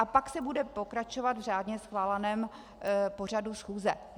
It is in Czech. A pak se bude pokračovat v řádně schváleném pořadu schůze.